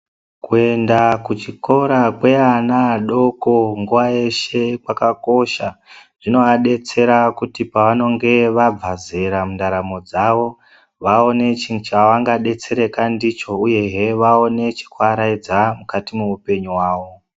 Kuenda kuchikora kweana adoko nguwa yeshe kwakakosha. Zvinovadetsera kuti pavanonge vabva zera mundaramo dzavo vaone chivangadetsera ndicho uyehe vaone chekuvaraidza mukati mwehupenyu hwawo.